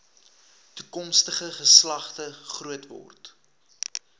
toekomstige geslagte grootword